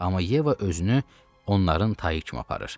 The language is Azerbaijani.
Amma Yeva özünü onların tayı kimi aparır.